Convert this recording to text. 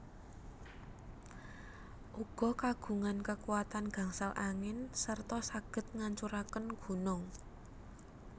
Uga kagungan kekuatan gangsal angin serta saged ngancuraken gunung